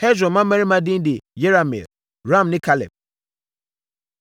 Hesron mmammarima edin de Yerahmeel, Ram ne Kaleb.